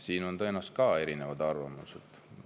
Siin on tõenäoliselt ka erinevad arvamused.